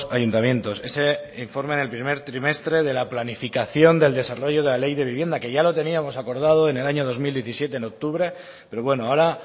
ayuntamientos ese informe del primer trimestre de la planificación del desarrollo de la ley de vivienda que ya lo teníamos acordado en el año dos mil diecisiete en octubre pero bueno ahora